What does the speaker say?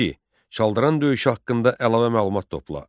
Çaldıran döyüşü haqqında əlavə məlumat topla.